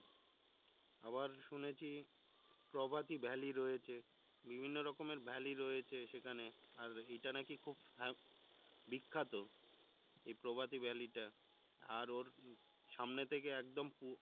আবার শুনেছি প্রভাতি valley রয়েছে, বিভিন্ন রকমের valley রয়েছে সেখানে আর এইটা নাকি খুব হ্যাঁ বিখ্যাত এই প্রভাতি valley টা আর ওর সামনে থেকে পুরো